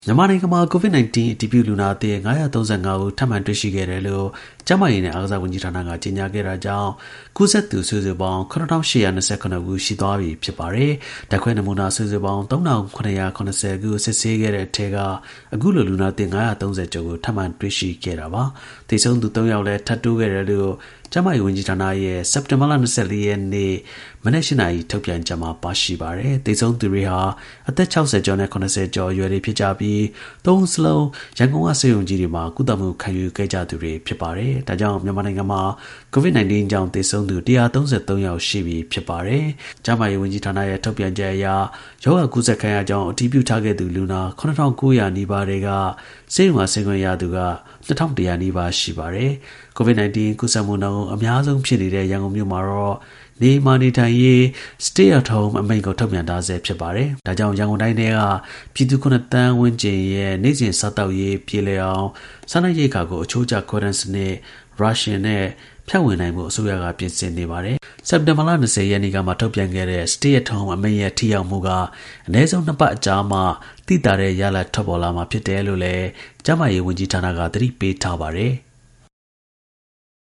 မြန်မာနိုင်ငံမှာ COVID-19 အတည်ပြု လူနာသစ် ၅၃၅ ဦး ထပ်မံတွေ့ရှိတယ်လို့ ကျန်းမာရေးနဲ့ အားကစား ဝန်ကြီးဌာနက ကြေညာခဲ့တာကြောင့် ကူးစက်သူ စုစုပေါင်း ၇,၈၂၇ ဦးရှိသွားပြီ ဖြစ်ပါတယ်။ ဓါတ်ခွဲနမူနာ စုစု ပေါင်း ၃,၇၇၀ခု စစ်ဆေးခဲ့တဲ့ အထဲ က အခု လို လူနာသစ် ၅၃၀ ကျော်ကို ထပ်မံ တွေ့ရှိခဲ့တာပါ။ သေဆုံးသူ ၃ ယောက်လည်း ထပ်တိုးခဲ့တယ်လို့ ကျန်းမာရေး ဝန်ကြီးဌာနရဲ့ စက်တင်ဘာလ ၂၄ ရက်နေ့ မနက် ၈နာရီထုတ်ပြန်ချက်မှာ ပါရှိပါတယ်။ သေဆုံးသူတွေဟာ အသက် ၆၀ နဲ့ ၇၀ ကျော်အရွယ်တွေ ဖြစ်ကြပြီး ၃ ဦးစလုံး ရန်ကုန်က ဆေးရုံကြီးတွေမှာ ကုသမှု ခံယူခဲ့သူတွေ ဖြစ်ပါတယ်။ ဒါကြောင့် မြန်မာနိုင်ငံမှာ COVID 19 ကြောင့် သေဆုံးသူ ၁၃၃ ယောက်ရှိပြီ ဖြစ်ပါတယ်။ ကျန်းမာရေးဌာနရဲ့ ထုတ်ပြန်ချက်အရ ရောဂါကူးစက်ခံရကြောင်းအတည်ပြုထားခဲ့သူလူနာ ၇၉၀၀ နီးပါးထဲက ဆေးရုံက ဆင်းခွင့်ရ သူ ၂,၁၀၀ နီးပါးရှိပါတယ်။ COVID-19 ကူးစက်မှုနှုန်း အများဆုံးဖြစ်တဲ့ ရန်ကုန်မြို့မှာတော့ နေအိမ်မှာ နေထိုင်ရေး Stay at Home အမိန့်ကို ထုတ်ပြန် ထားဆဲဖြစ်ပါ။ ဒါကြောင့် ရန်ကုန်တိုင်းထဲက ပြည်သူ (၇)သန်း ဝန်းကျင်ရဲ့ နေ့စဉ် စားသောက်ရေး ပြေလည်အောင် စားနပ်ရိက္ခာကို အချိုး ကျ ခွဲတမ်းစနစ် Ration နဲ့ ဖြန့်ဝေနိုင်ဖို့အစိုးရက ပြင်ဆင်နေပါတယ်။ စက်တင်ဘာလ ၂၀ရက်နေ့ကမှ ထုတ်ပြန်ခဲ့တဲ့ Stay at Home အမိန့်ရဲ့ ထိရောက်မှုက အနည်းဆုံး (၂)ပတ်အကြာမှ သိသာတဲ့ ရလဒ် ထွက်ပေါ်လာမှာ ဖြစ်တယ်လို့လည်း ကျန်းမာရေး ဝန်ကြီး ဌာန က သတိပေးထားပါတယ်။